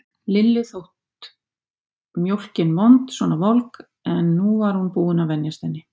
Lillu þótt mjólkin vond svona volg, en nú var hún búin að venjast henni.